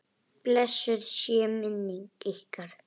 Blessuð sé minning ykkar.